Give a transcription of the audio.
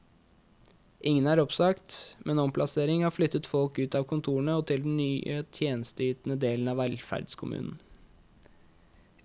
Ingen er oppsagt, men omplassering har flyttet folk ut av kontorene og til den tjenesteytende delen av velferdskommunen.